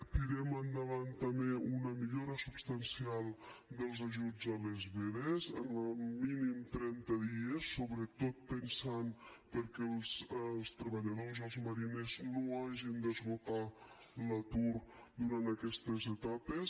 tirem endavant també una millora substancial dels ajuts a les vedes en el mínim de trenta dies sobretot pensant que els treballadors i els mariners no hagin d’esgotar l’atur durant aquestes etapes